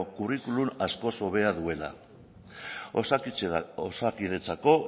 kurrikulum askoz hobea duela osakidetzako